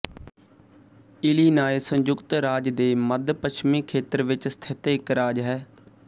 Illinois ਸੰਯੁਕਤ ਰਾਜ ਦੇ ਮੱਧਪੱਛਮੀ ਖੇਤਰ ਵਿੱਚ ਸਥਿਤ ਇੱਕ ਰਾਜ ਹੈ